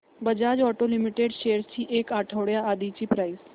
Bajaj auto limited shares ची एक आठवड्या आधीची प्राइस